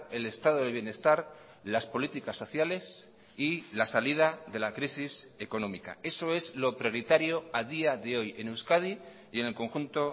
el estado de bienestar las políticas sociales y la salida de la crisis económica eso es lo prioritario a día de hoy en euskadi y en el conjunto